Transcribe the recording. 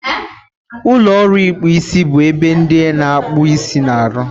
Ụlọ ọrụ ịkpụ isi bụ ebe ndị na-akpụ isi na-arụ.